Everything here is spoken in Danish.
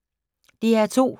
DR2